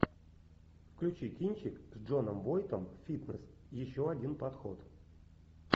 включи кинчик с джоном войтом фитнес еще один подход